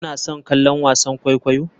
Kuna son kallon wasan kwaikwayo?